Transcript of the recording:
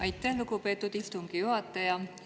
Aitäh, lugupeetud istungi juhataja!